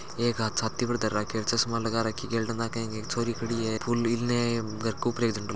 एक छाती पर हाथ धर राखो है चश्मा लगा रखी हैगेल डे नाके एक छोरी खड़ी है फूल इने एक घर के ऊपर झंडो लाग --